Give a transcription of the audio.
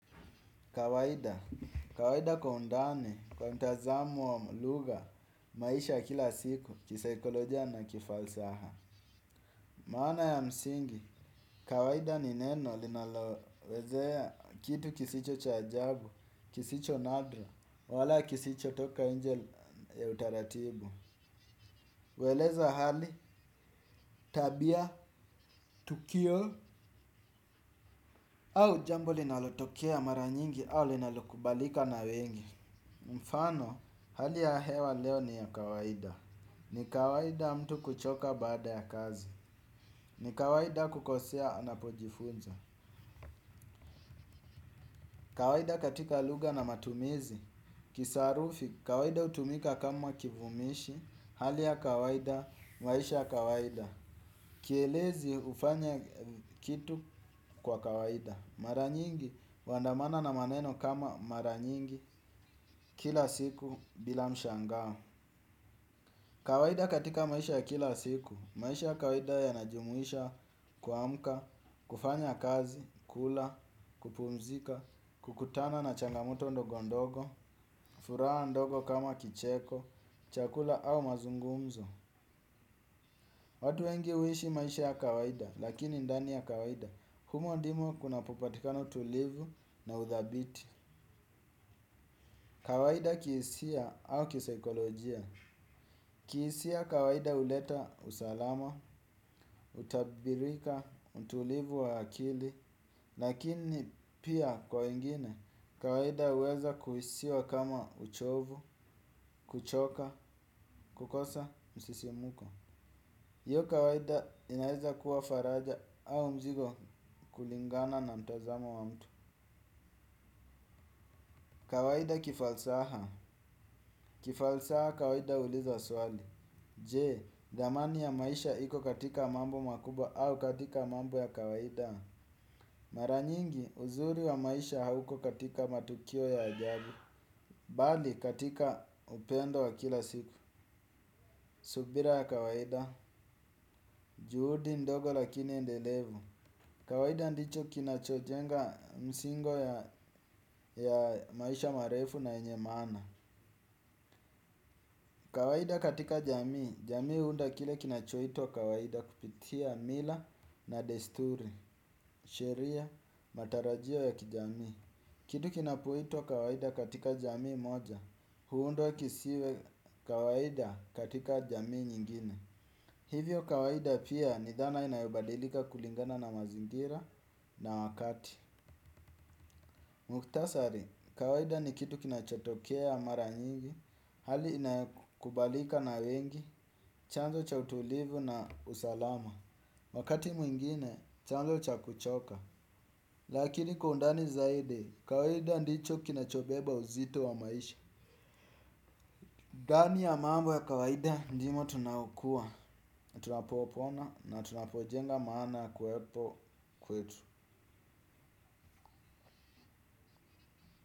Kawaida, kawaida kwa undani, kwa mtazamo wa lugha, maisha kila siku, kisaikolojia na kifalsaha. Maana ya msingi, kawaida ni neno linalowezea kitu kisicho cha jabu, kisicho nadra, wala kisicho toka inje ya utaratibu. Hueleza hali, tabia, tukio, au jambo linalotokea mara nyingi au linalokubalika na wengi. Mfano hali ya hewa leo ni ya kawaida. Ni kawaida mtu kuchoka baada ya kazi. Ni kawaida kukosea napojifunza. Kawaida katika lugha na matumizi kisarufi kawaida hutumika kama kivumishi. Hali ya kawaida maisha ya kawaida kielezi hufanya kitu kwa kawaida. Maranyingi huandamana na maneno kama maranyingi. Kila siku bila mshangao kawaida katika maisha ya kila siku, maisha ya kawaida yanajumuisha kuamka, kufanya kazi, kula, kupumzika, kukutana na changamoto ndogo ndogo, furaha ndogo kama kicheko, chakula au mazungumzo. Watu wengi huishi maisha ya kawaida, lakini ndani ya kawaida, humo ndimo kunapopatikana tulivu na uthabiti. Kawaida kihisia au kisaikolojia. Kihisia kawaida huleta usalama, utabirika, utulivu wa akili, lakini pia kwa wengine kawaida huweza kuhisiwa kama uchovu, kuchoka, kukosa, msisimuko. Hiyo kawaida inaeza kuwa faraja au mzigo kulingana na mtazamo wa mtu. Kawaida kifalsaha. Kifalsaha kawaida uliza swali. Je, dhamani ya maisha iko katika mambo makubwa au katika mambo ya kawaida. Maranyingi uzuri wa maisha hauko katika matukio ya ajabu. Bali katika upendo wa kila siku. Subira ya kawaida, juhudi ndogo lakini endelevu. Kawaida ndicho kinachojenga msingo ya maisha marefu na yenye maana. Kawaida katika jamii, jamii huunda kile kinachuitwa kawaida kupitia mila na desturi, sheria, matarajio ya kijamii. Kitu kinapoitwa kawaida katika jamii moja, huundwa kisiwe kawaida katika jamii nyingine. Hivyo kawaida pia ni dhana inayobadilika kulingana na mazingira na wakati. Mukhtasari, kawaida ni kitu kinachotokea ya mara nyingi, hali inayokubalika na wengi, chanzo cha utulivu na usalama. Wakati mwingine, chanzo cha kuchoka. Lakini kwa undani zaidi, kawaida ndicho kinachobeba uzito wa maisha. Ndani ya mambo ya kawaida, ndimo tunaokuwa, tunapopona na tunapojenga maana kuwepo kwetu.